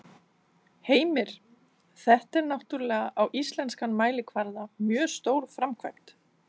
Heimir: Þetta er náttúrulega á íslenskan mælikvarða mjög stór framkvæmd?